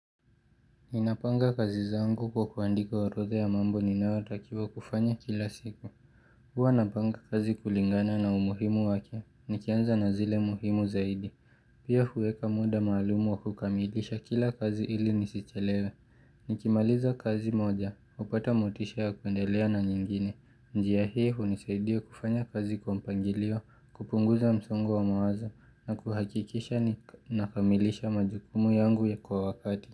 Ninapanga kazi zangu kwa kuandika orodha ya mambo ninayotakiwa kufanya kila siku. Huwa napanga kazi kulingana na umuhimu wake. Nikianza na zile muhimu zaidi. Pia huweka muda maalum wa kukamilisha kila kazi ili nisichelewe. Nikimaliza kazi moja, hupata motisha ya kuendelea na nyingine. Njia hii hunisaidia kufanya kazi kwa mpangilio, kupunguza msongo wa mawazo, na kuhakikisha nakamilisha majukumu yangu kwa wakati.